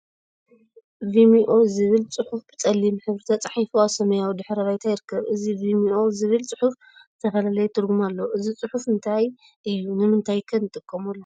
ቪመኦ ዝብል ፅሑፍ ብፀሊም ሕብሪ ተፃሒፉ አብ ሰማያዊ ድሕረ ባይታ ይርከብ፡፡ እዚ ቪመኦ ዝብል ፅሑፍ ዝተፈላለየ ትርጉም አለዎ፡፡ እዚ ፅሑፍ እንታይ እዩ? ንምንታይ ኸ ንጥቀመሉ?